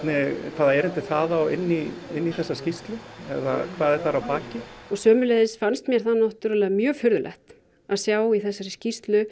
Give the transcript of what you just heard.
hvaða erindi það á inn í inn í þessa skýrslu eða hvað er þar að baki og sömuleiðis fannst mér það náttúrulega mjög furðulegt að sjá í þessari skýrslu